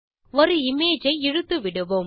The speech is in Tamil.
ஒரு இமேஜ் ஐ இழுத்துவிடுவோம்